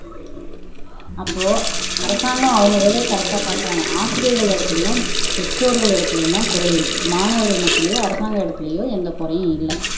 அப்போ அரசாங்கம் அவங்க வேலைய கரெக்டா பாக்குறாங்க ஆசிரியர்களிடத்துலேயும், பெற்றோர்களிடத்துலேயும்தான் குறை இருக்கு மாணவர்கள் மத்தியிலையும் அரசாங்க இடத்துலையோ எந்த குறையும் இல்ல